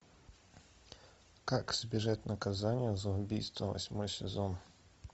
как избежать наказания за убийство восьмой сезон